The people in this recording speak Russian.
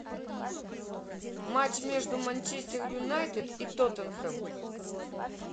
матч между манчестер юнайтед и тоттенхэм